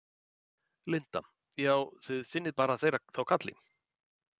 Linda: Já, þið sinnið bara þeirra þá kalli?